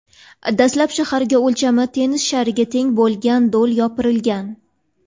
Dastlab shaharga o‘lchami tennis shariga teng bo‘lgan do‘l yopirilgan.